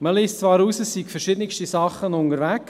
Man liest zwar heraus, es seien verschiedene Sachen unterwegs.